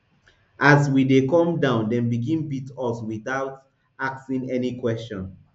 as we dey come down dem begin beat us wit out asking any question